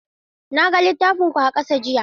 Na ga littafin ku a ƙasa jiya.